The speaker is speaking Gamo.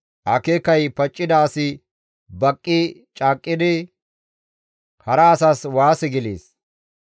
Akeekay paccida asi baqqi caaqqidi hara asas waase gelees.